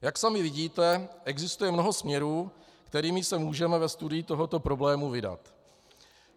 Jak sami vidíte, existuje mnoho směrů, kterými se můžeme ve studiu tohoto problému vydat.